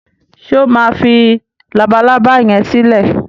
ṣe o má fí Labalábá yén silẹ?